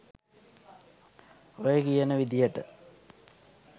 ඔය කියන විදියට